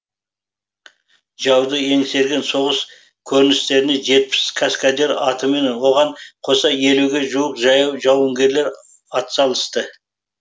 жауды еңсерген соғыс көріністеріне жетпіс каскадер атымен оған қоса елуге жуық жаяу жауынгерлер атсалысты